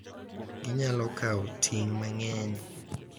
Ginyalo kawo ting’ mang’eny,